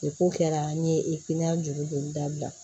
kɛra an ye juru don dabila